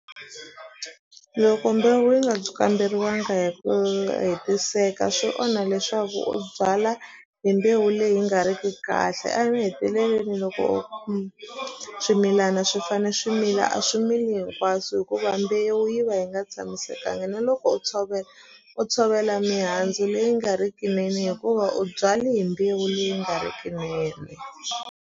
Loko mbewu yi nga kamberiwanga hi ku hetiseka swi onha leswaku u byala hi mbewu leyi nga ri ki kahle a mahetelelweni loko swimilana swi fane swimila a swimili hinkwaswo hikuva mbewu yi va yi nga tshamisekanga na loko u tshovela u tshovela mihandzu leyi nga ri ki nene hikuva u byale hi mbewu leyi nga ri ki nene.